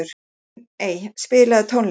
Steiney, spilaðu tónlist.